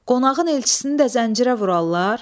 Qonağın elçisini də zəncirə vurarlar?